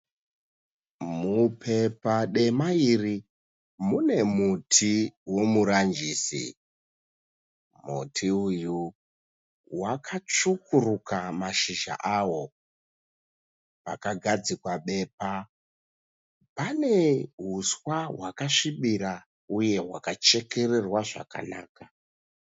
Mupepa dema iri mune muti womuranjisi. Muti uyu wakatsvukuruka mashizha awo. Pakagadzikwa bepa panehuswa hwakasvibira uye hwakachekererwa zvakanaka.